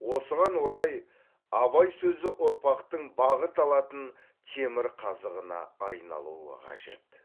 осыған орай абай сөзі ұрпақтың бағыт алатын темірқазығына айналуы қажет